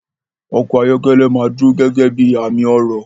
Ọkọ̀ ayọ́kẹ́lẹ́ máa dúró gẹ́gẹ́ bí i àmì ọrọ̀.